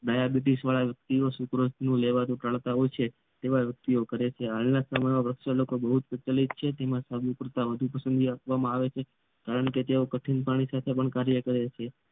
ડાબીટસ વાળા સુકેસુ લેવાનું ટાડતા હોય છે વ્યક્તિ તેવા વ્યક્તિ કરે છે હાલ ના સમય માં પ્રક્ષાલકો બહુ જ પ્રચલિત છે અને તેમને સાબુ કરતા વધુ પસંદગી આપવામાં આવે છે કારણ કે તેઓ કઠિન પાણી સાથે કાર્ય કરે છે